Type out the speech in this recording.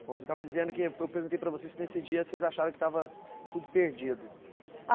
Bom, você estava dizendo que... Eu perguntei para você se nesse dia vocês achavam que estava tudo perdido.